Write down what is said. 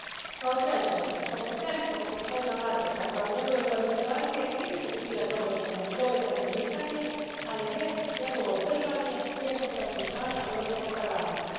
Kao treće, kompetentnost gospodina Matesa i njegove kvalifikacije nisu bile dovedene u pitanje, ali jest njegovo držanje tijekom saslušanja u Europskom parlamentu.